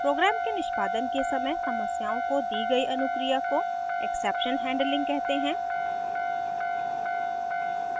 program के निष्पादन के समय समस्याओं को the गयी अनुक्रिया को exception handling कहते हैं